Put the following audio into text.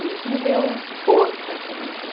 E isso me deu força também para...